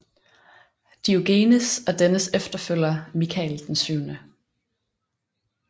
Diogenes og dennes efterfølger Michael 7